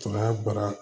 baara